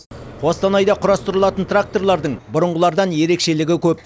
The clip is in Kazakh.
қостанайда құрастырылатын тракторлардың бұрынғылардан ерекшелігі көп